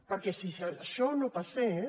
perquè si això no passés